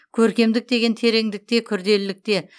көркемдік деген тереңдікте күрделілікте